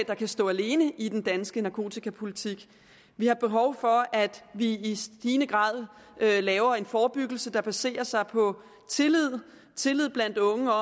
der kan stå alene i den danske narkotikapolitik vi har behov for at vi i stigende grad laver en forebyggelse der baserer sig på tillid blandt unge